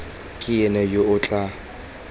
ke ena yo o tla